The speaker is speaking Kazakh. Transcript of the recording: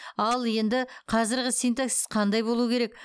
ал енді қазырғы синтаксис қандай болу керек